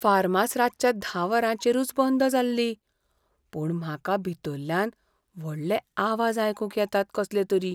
फार्मास रातच्या धा वरांचेरूच बंद जाल्ली, पूण म्हाका भितरल्यान व्हडले आवाज आयकूंक येतात कसलेतरी.